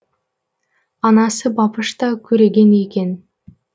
анасы бапыш та көреген екен